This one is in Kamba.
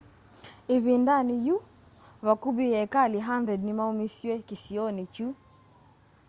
ĩvindanĩ yĩu vakuvĩ eekali 100 nĩ maumisyw'e kĩsionĩ kĩu